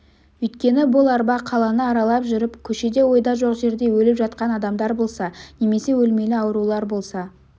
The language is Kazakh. өйткені бұл арба қаланы аралап жүріп көшеде ойда жоқ жерде өліп жатқан адамдар болса немесе өлмелі аурулар болса